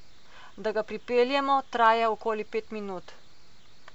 Da ga pripeljemo, traja okoli pet minut.